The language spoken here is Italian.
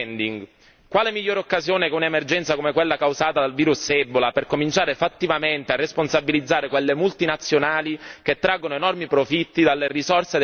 migliore occasione che un'emergenza come quella causata dal virus ebola per cominciare fattivamente a responsabilizzare quelle multinazionali che traggono enormi profitti dalle risorse dei paesi maggiormente colpiti?